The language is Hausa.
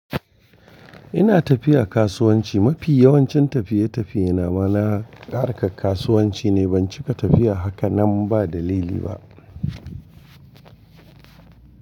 Ina tafiya kasuwanci. Mafi yawancin tafiye-tafiyena ma na harkar kasuwanci ne. Ban cika tafiya haka nan ba dalili ba.